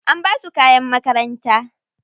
An basu kayan makaranta.